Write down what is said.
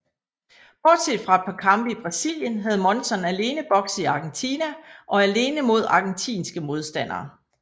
Bortset fra et par kampe i Brasilien havde Monzon alene bokset i Argentina og alene mod argentinske modstandere